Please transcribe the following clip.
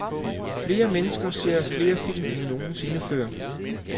Flere mennesker ser flere film end nogen sinde før.